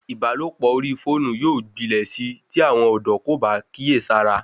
Ìbálòpọ̀ orí fóònù yóò gbilẹ̀ sí tí àwọn ọ̀dọ́ kò bá kíyèsára